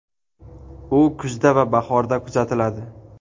U kuzda va bahorda kuzatiladi.